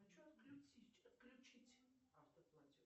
хочу отключить автоплатеж